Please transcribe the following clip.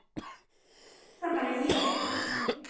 Kannski er það bara ég?